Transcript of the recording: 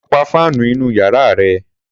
Sọ pà fànú ìnú yàrá rẹ?